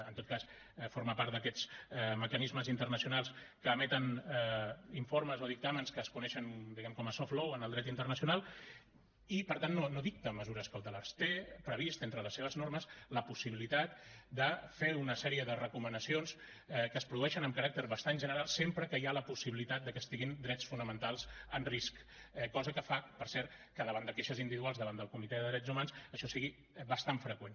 en tot cas forma part d’aquests mecanismes internacionals que emeten informes o dictàmens que es coneixen diguem ne com a soft lawentre les seves normes la possibilitat de fer una sèrie de recomanacions que es produeixen amb caràcter bastant general sempre que hi ha la possibilitat de que estiguin drets fonamentals en risc cosa que fa per cert que davant de queixes individuals davant del comitè de drets humans això sigui bastant freqüent